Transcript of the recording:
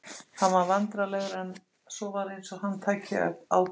Hann varð vandræðalegur en svo var eins og hann tæki ákvörðun.